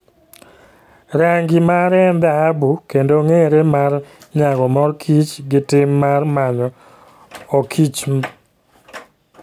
Rangi mare en dhahabu kendo ong'ere mar nyago mor kich gi tim mar manyo okichmb.